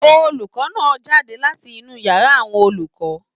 Olùkọ náà jáde láti inú yàrá àwọn olùkọ.